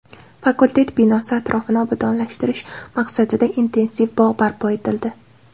Fakultet binosi atrofini obodonlashtirish maqsadida intensiv bog‘ barpo etildi.